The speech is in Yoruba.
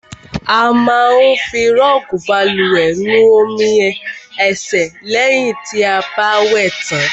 A má ń fi rọọgi bálùwẹ̀ nu omi ẹ̀sẹ̀ lẹ̀hìn ti a bá wẹ̀ tàn.